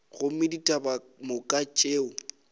gomme ditaba ka moka tšeo